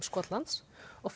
Skotlands og